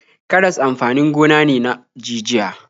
Karas amfanin gona ne na jijiya.